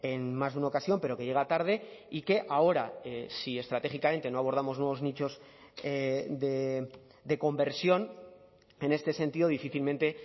en más de una ocasión pero que llega tarde y que ahora si estratégicamente no abordamos nuevos nichos de conversión en este sentido difícilmente